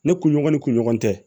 Ne kunɲɔgɔn ni kunɲɔgɔn tɛ